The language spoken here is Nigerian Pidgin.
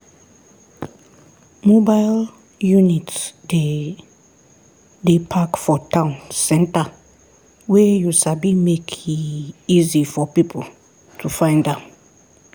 mobile unit dey dey park for town center wey you sabi make e easy for people to find am.